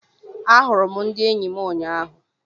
A hụrụ m ndị eyi m ụnyaahụ.